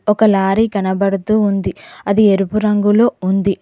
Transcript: ఒక లారీ కనబడుతూ ఉంది అది ఎరుపు రంగులో ఉంది.